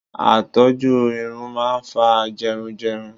Àìtọ́jú irun máa ń fa jẹrun jẹrun.